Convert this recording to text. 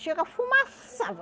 Chega fumaçava